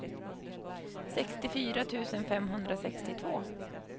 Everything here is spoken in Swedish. sextiofyra tusen femhundrasextiotvå